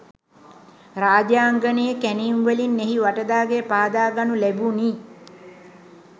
රාජාංගනයේ කැණීම්වලින් එහි වටදාගෙය පාදාගනු ලැබුණි.